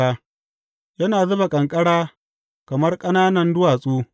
Yana zuba ƙanƙara kamar ƙananan duwatsu.